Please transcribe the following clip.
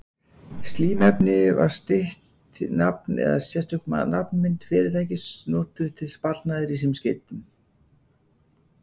Símnefni var stytt nafn eða sérstök nafnmynd fyrirtækis notuð til sparnaðar í símskeytum.